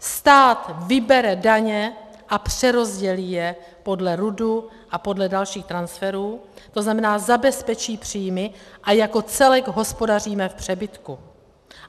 Stát vybere daně a přerozdělí je podle RUDu a podle dalších transferů, to znamená, zabezpečí příjmy a jako celek hospodaříme v přebytku.